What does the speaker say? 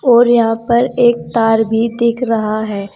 और यहां पर एक तार भी दिख रहा है।